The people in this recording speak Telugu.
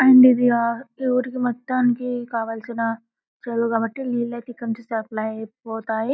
అండ్ ఇది ఆ టూర్ కి మొత్తనికి కావాల్సిన చదువుకాబట్టి సప్లై పోతాయి .